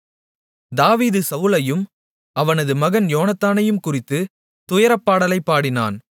தாவீது சவுலையும் அவனது மகன் யோனத்தானையும்குறித்து துயரப்பாடலைப் பாடினான்